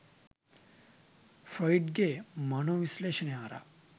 Freud ගේ මනෝ විශ්ලේෂණය හරහා.